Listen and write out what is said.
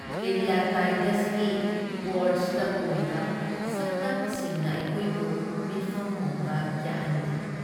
ꯀꯦꯔꯤꯌꯥꯇꯥꯏꯗꯁꯀꯤ ꯄꯣꯔ꯭ꯆꯇ ꯎꯔꯤꯕ ꯁꯛꯇꯝꯁꯤꯡꯅ ꯑꯩꯈꯣꯏꯕꯨ ꯃꯤꯠꯐꯝ ꯍꯣꯡꯕ ꯌꯥꯍꯟꯗꯦ ꯫